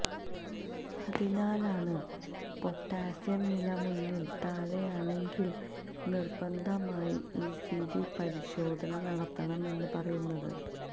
അതിനാലാണ് പൊട്ടാസ്യം നില മൂന്നിൽ താഴെയാണങ്കിൽ നിർബന്ധമായി ഇ സി ജി പരിശോധന നടത്തണമെന്ന് പറയുന്നത്